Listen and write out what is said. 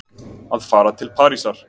Að fara til Parísar?